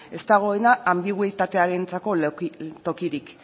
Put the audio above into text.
ez dagoena anbiguetatearentzako tokikorik